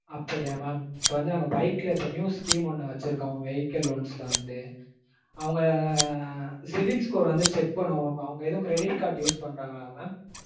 அப்படியா mam. இப்போ வந்து நாங்க bike ல new scheme ஒன்னு வச்சிருக்கோம் vehicle loans ல வந்து. அவங்க civil score வந்து check பண்ணுவோம் mam அவங்க எதும் credit card use பண்றாங்களா mam?